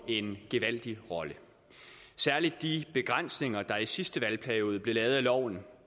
en gevaldig rolle særlig de begrænsninger der i sidste valgperiode blev lavet af loven